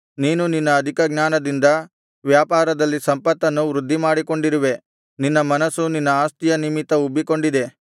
ನೀನು ನಿನ್ನ ಅಧಿಕ ಜ್ಞಾನದಿಂದ ವ್ಯಾಪಾರದಲ್ಲಿ ಸಂಪತ್ತನ್ನು ವೃದ್ಧಿಮಾಡಿಕೊಂಡಿರುವೆ ನಿನ್ನ ಮನಸ್ಸು ನಿನ್ನ ಆಸ್ತಿಯ ನಿಮಿತ್ತ ಉಬ್ಬಿಕೊಂಡಿದೆ